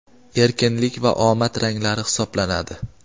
erkinlik va omad ranglari hisoblanadi.